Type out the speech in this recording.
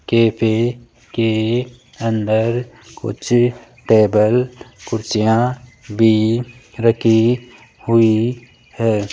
Cafe के अंदर कुछ टेबल कुर्सियां भी रखी हुई है।